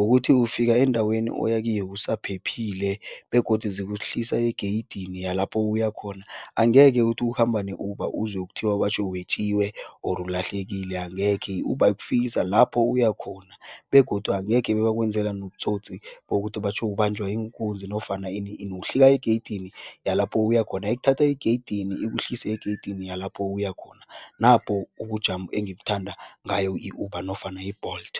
ukuthi ufika endaweni oya kiyo usaphephile begodu zikuhlisa egeyidini yalapho uya khona. Angeke uthi ukhamba ne-Uber uzwe kuthiwa batjho wetjiwe, or ulahlekile, angekhe. I-Uber ikufikisa lapho uya khona begodu angekhe bebakwenzela nobutsotsi bokuthi batjho ubanjwa iinkunzi nofana ini ini, uhlika egeyidi yalapho uya khona. Ikuthatha egeyidini, ikuhlise egeyidini yalapho uya khona, napo ubujamo engibuthanda ngayo i-Uber nofana i-Bolt.